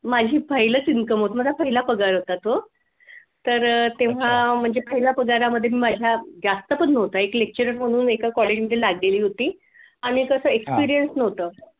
माझी file च income होत माझा पहिला पगार होता तो तर अह तेव्हा म्हणजे पहिला पगारामध्ये मी माझ्या जास्त पण नव्हता एक lecturer म्हणून एका college मध्ये लागली होती आणि कस experience नव्हतं